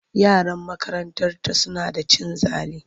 Yaran makarantarta suna da cin zali.